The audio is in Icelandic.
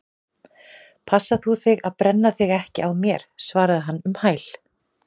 Passa þú þig að brenna þig ekki á mér- svaraði hann um hæl.